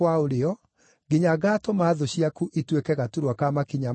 nginya ngaatũma thũ ciaku ituĩke gaturwa ka makinya maku.” ’